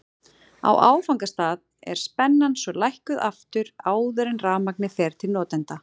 Á áfangastað er spennan svo lækkuð aftur áður en rafmagnið fer til notenda.